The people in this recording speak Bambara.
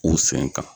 U sen kan